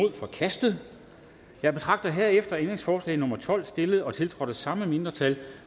er forkastet jeg betragter herefter ændringsforslag nummer tolv stillet og tiltrådt af de samme mindretal